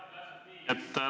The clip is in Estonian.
Jah, täpselt nii.